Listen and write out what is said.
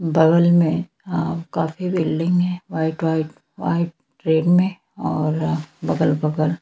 बगल में आप काफी बिल्डिंग है वाइट वाइट वाइट रेड में और बगल-बगल--